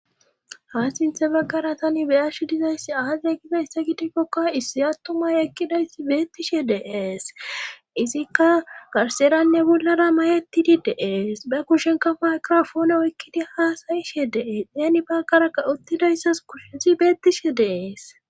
Ha sinthe baggara tani beyash dizayssi aaze gidayssa gidikkokka issi attumay ekkidayssi beettishe deees izikka garseranne bollara mayetidi deees ba kushenka maykrofoone oykkidi haasayishe deees yaani bagaraka uttidayssas kushesi beettishe deees.